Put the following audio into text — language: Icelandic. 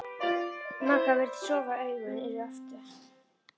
Magga virðist sofa, augun eru aftur.